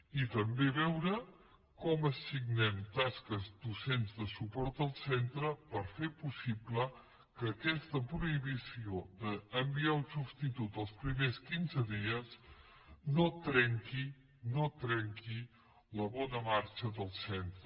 i també veure com assignem tasques docents de suport al centre per fer possi ble que aquesta prohibició d’enviar un substitut els primers quinze dies no trenqui no trenqui la bona marxa del centre